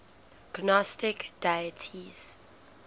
gnostic deities